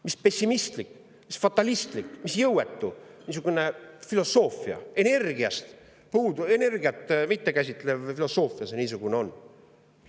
Mis pessimistlik, mis fatalistlik, mis jõuetu, energiat mittekäsitlev filosoofia see niisugune on!